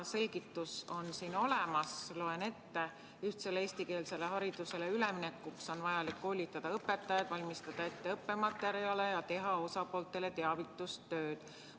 Selgitus on siin olemas, loen ette: "Ühtsele eestikeelsele haridusele üleminekuks on vajalik koolitada õpetajaid, valmistada ette õppematerjale ning teha osapooltele teavitustööd.